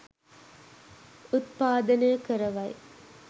උත්පාදනය කරවයි.